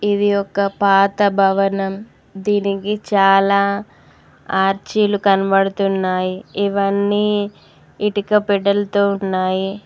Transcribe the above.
ఇది ఒక పాత భవనం దీనికి చాలా ఆర్చిలు కనబడుతున్నాయి ఇవ్వన్నీ ఇటుక పెట్టెలతో ఉన్నాయి.